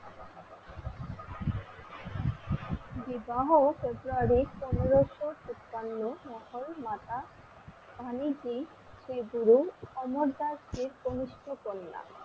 বিবাহ ফেব্রুয়ারি পনেরোশো তিপান্ন লাহোর মাতা তাহনিজি শ্রীগুরু অমরদাস এর কনিষ্ঠ কন্যা